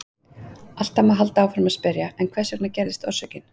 Alltaf má halda áfram að spyrja: En hvers vegna gerðist orsökin?